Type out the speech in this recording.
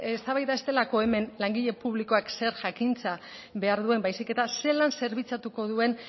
eztabaida ez delako hemen langile publikoak zer jakintza behar duen baizik eta zelan zerbitzatuko duen